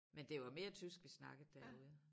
Men det var mere tysk vi snakkede derude